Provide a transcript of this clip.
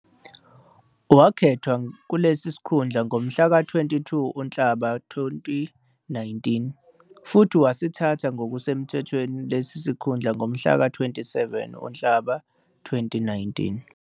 Wakhethwa kulesi sikhundla ngomhlaka 22 uNhlaba 2019, futhi wasithatha ngokusemthethweni lesi sikhundla mhlaka 27 uNhlaba 2019.